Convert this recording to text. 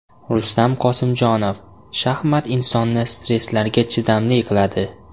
Rustam Qosimjonov: Shaxmat insonni stresslarga chidamli qiladi.